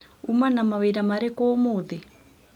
ũma na mawĩra marĩkũ ũmũthĩ?